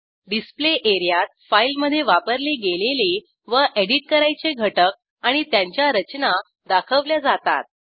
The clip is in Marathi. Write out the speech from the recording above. डिस्प्ले एरियात फाईलमधे वापरले गेलेले व एडिट करायचे घटक आणि त्यांच्या रचना दाखवल्या जातात